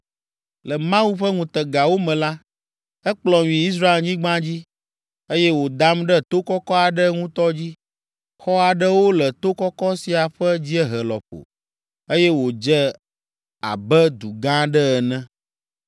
Le Mawu ƒe ŋutegawo me la, ekplɔm yi Israelnyigba dzi, eye wòdam ɖe to kɔkɔ aɖe ŋutɔ dzi. Xɔ aɖewo le to kɔkɔ sia ƒe dziehe lɔƒo, eye wòdze abe du gã aɖee ene.